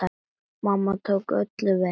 Mamma tók öllum vel.